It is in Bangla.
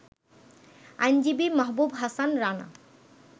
আইনজীবী মাহাবুব হাসান রানা